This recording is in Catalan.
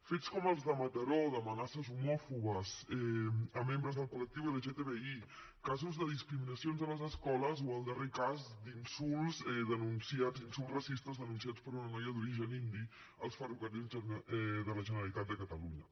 fets com els de mataró d’amenaces homòfobes a membres del col·lectiu lgtbi casos de discriminacions a les escoles o el darrer cas d’insults racistes denunciats per una noia d’origen indi als ferrocarrils de la generalitat de catalunya